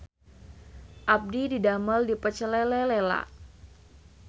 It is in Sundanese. Abdi didamel di Pecel Lele Lela